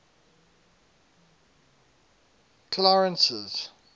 clarence's